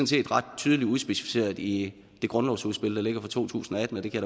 set ret tydeligt udspecificeret i det grundlovsudspil der ligger fra to tusind og atten og det kan